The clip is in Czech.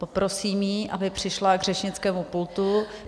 Poprosím ji, aby přišla k řečnickému pultu.